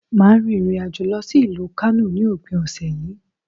Màá rin ìrìnàjò lọ sí ìlú Kánò ní òpin òsè yí